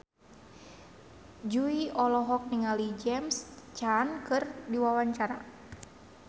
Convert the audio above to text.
Jui olohok ningali James Caan keur diwawancara